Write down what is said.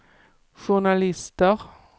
journalister